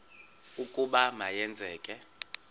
ukuba ma yenzeke